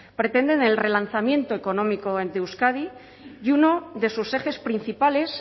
pretenden el relanzamiento económico de euskadi y uno de sus ejes principales